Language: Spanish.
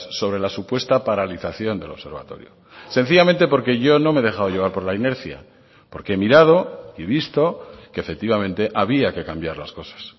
sobre la supuesta paralización del observatorio sencillamente porque yo no me he dejado llevar por la inercia porque he mirado y visto que efectivamente había que cambiar las cosas